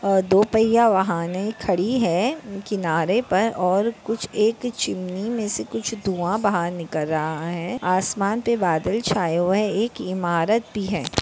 अ दो पय्या वाहने खड़ी है किनारे पर और कुछ एक चिमनी मे से कुछ धुआ बाहर निकल रहा है। आसमान पे बादल छाए हुआ है। एक इमारत भी है।